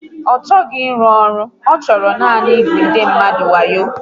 Ọ chọghị ịrụ ọrụ, ọ chọrọ nanị ịgbu ndị mmadụ wayo